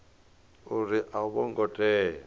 uri a vho ngo tea